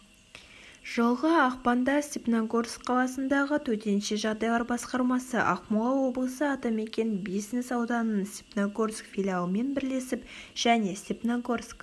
жылғы ақпанда степногорск қаласындағы төтенше жағдайлар басқармасы ақмола облысы атамекен бизнес-ауданының степногорск филиалымен бірлесіп және степногорск